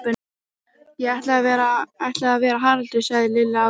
Ég ætla að vera Haraldur sagði Lilla ákveðin.